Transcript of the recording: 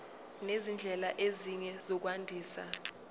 nezindlela ezinye zokwandisa